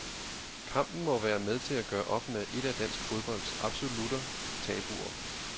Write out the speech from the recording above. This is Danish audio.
Kampen må være med til at gøre op med et af dansk fodbolds absolutter tabuer.